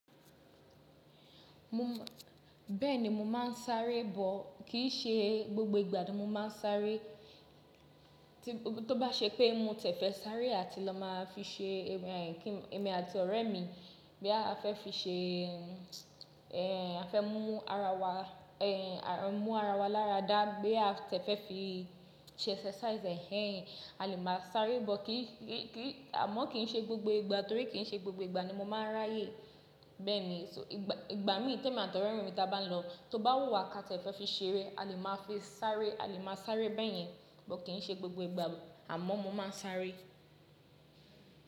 Bẹ́ẹ̀ni mo máa ń sáré bọ̀, kì n ṣe gbogbo ìgbà ni mo máa ń sáré. Tó bá ṣe pé mo tẹ̀ fẹ́ sáré àti lọ máa fi ṣe eh, kí èmi àti ọ̀rẹ́ mi boya a fẹ́ fi ṣe eh a fẹ́ mú ara wa eh mú ara wa lára dáa, boya a ti e fẹ́ fi ṣe exercise hẹ́hẹ́n a lè máa sáré bọ̀. Kì í ṣe gbogbo ìgbà, àmọ́ kì í ṣe gbogbo ìgbà torí kì í ṣe gbogbo ìgbà ni mo máa ń ráyè. Bẹ́ẹ̀ni, ìgbà mi temi àti ọ̀rẹ́ mi ta bá ń lọ tó bá wù wà ká ti ẹ̀ fẹ́ fi ṣeré a lè máa fi sáré, a lè máa sáré bẹ́ẹ̀ yẹn. But, kìi ṣe gbogbo ìgbà àmọ́ mo máa ń ṣaaré.